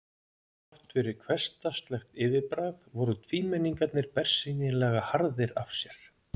Þrátt fyrir hversdagslegt yfirbragð voru tvímenningarnir bersýnilega harðir af sér.